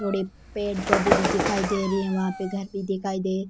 धोली पेड़ पौधे भी दिखाई दे रही है वहां पर घर भी दिखाई दे --